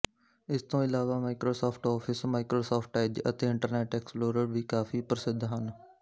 ਇਸ ਤੋਂ ਇਲਾਵਾ ਮਾਈਕਰੋਸੌਫ਼ਟ ਔਫਿਸ ਮਾਈਕਰੋਸੌਫ਼ਟ ਐੱਜ ਅਤੇ ਇੰਟਰਨੈੱਟ ਐਕਸਪਲੋਰਰ ਵੀ ਕਾਫੀ ਪ੍ਰਸਿੱਧ ਹਨ